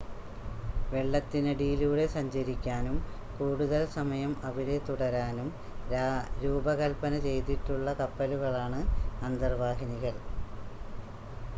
വെള്ളത്തിനടിയിലൂടെ സഞ്ചരിക്കാനും കൂടുതൽ സമയം അവിടെ തുടരാനും രൂപകൽപ്പന ചെയ്തിട്ടുള്ള കപ്പലുകളാണ് അന്തർവാഹിനികൾ